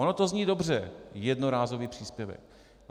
Ono to zní dobře - jednorázový příspěvek.